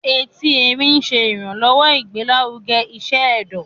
Ẹti Ẹrin ṣe iranlọwọ igbelaruge iṣẹ ẹdọ